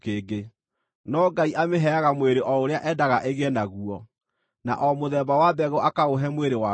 No Ngai amĩheaga mwĩrĩ o ũrĩa endaga ĩgĩe naguo, na o mũthemba wa mbegũ akaũhe mwĩrĩ waguo.